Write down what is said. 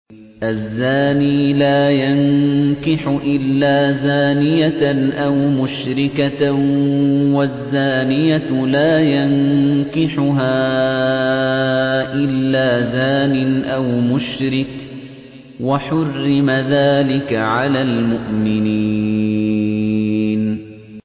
الزَّانِي لَا يَنكِحُ إِلَّا زَانِيَةً أَوْ مُشْرِكَةً وَالزَّانِيَةُ لَا يَنكِحُهَا إِلَّا زَانٍ أَوْ مُشْرِكٌ ۚ وَحُرِّمَ ذَٰلِكَ عَلَى الْمُؤْمِنِينَ